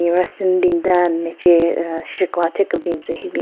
mache aaah shye kegwa thyu kebin tsü hyu bin.